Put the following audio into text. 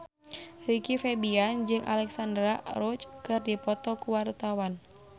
Rizky Febian jeung Alexandra Roach keur dipoto ku wartawan